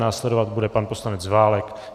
Následovat bude pan poslanec Válek.